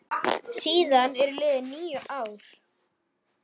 Síðan eru liðin níu ár.